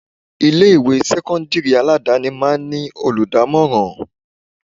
Ilé ìwé sẹ́kọ́ńdírì aládàáni máa ń ní olùdámọ̀ràn.